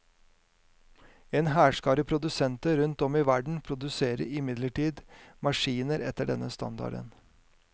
En hærskare produsenter rundt om i verden produserer imidlertid maskiner etter denne standarden.